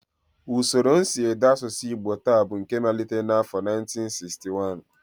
Usoro nsiede asụsụ Igbo taa bụ nke malitere n'afọ 1961